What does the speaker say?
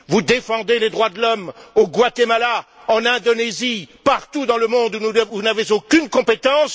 Vous défendez les droits de l'homme au Guatemala, en Indonésie, partout dans le monde où vous n'avez aucune compétence.